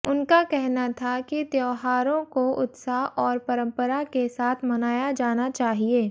उनका कहना था कि त्योहारों को उत्साह और परम्परा के साथ मनाया जाना चाहिए